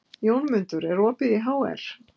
Jómundur, er opið í HR?